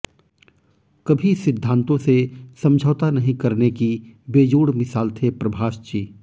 कभी सिद्धांतों से समझौता नहीं करने की बेजोड़ मिसाल थे प्रभाषजी